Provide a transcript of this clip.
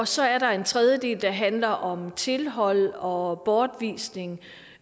så er der en tredje del der handler om tilhold og bortvisning